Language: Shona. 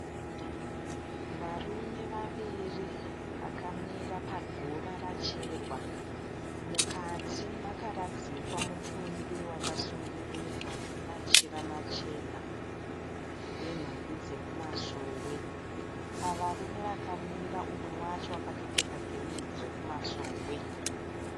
Varume vaviri vakamira paguva racherwa. Mukati makaradzikwa mutumbi wakasungirirwa nemachira machena wenhumbi dzekumasowe. Pavarume vakamira umwe wacho akatopfeka gemenzi rekumasowe.